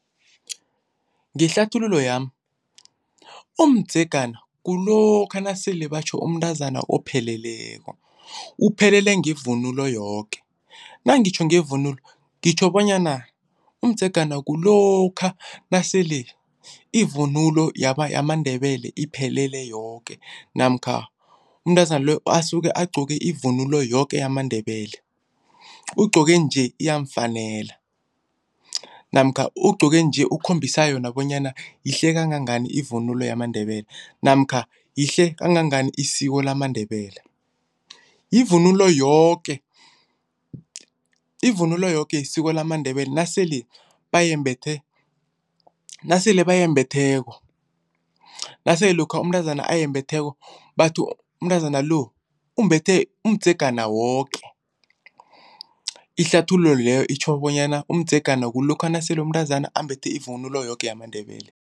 Ngehlathululo yami umdzegana kulokha nasele batjho umntazana opheleleko. Uphelele ngevunulo yoke, nangitjho ngevunulo ngitjho bonyana umdzegana kulokha nasele ivunulo yamaNdebele iphelele yoke namkha umntazana loyo asuke agqoke ivunulo yoke yamaNdebele. Ugqoke nje uyamufanela namkha ugqoke nje ukhombisa yona bonyana yihle kangangani ivunulo yamaNdebele namkha lihle kangangani isiko lamaNdebele. Ivunulo yoke, ivunulo yoke yesiko lamaNdebele nasele bayimbethe, nasele bayembhetheko. Nasele lokha umntazana ayembatheko bathi umntazana lo umbethe umdzegana woke. Ihlathululo leyo itjho bonyana umdzegana kulokha nasele umntazana ambethe ivunulo yoke yamaNdebele.